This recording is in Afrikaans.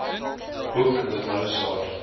boek the mozart